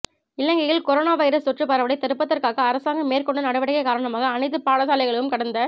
இலங்கையில் corona virus தொற்று பரவலை தடுப்பதற்காக அரசாங்கம் மேற்கொண்ட நடவடிக்கை காரணமாக அனைத்து பாடசாலைகளும் கடந்த